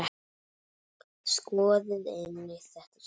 Skoðið einnig þetta svar